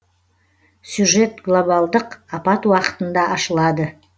сюжет глобалдық апат уақытында ашылады